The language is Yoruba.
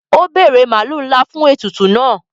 O bere maalu nla fún ètùtù náà.